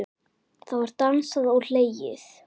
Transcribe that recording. Það var dansað og hlegið.